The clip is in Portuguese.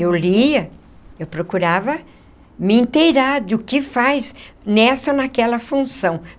Eu lia, eu procurava me inteirar de o que faz nessa ou naquela função.